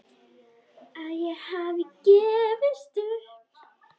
Að ég hafi gefist upp.